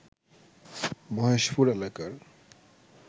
মহেশপুর এলাকার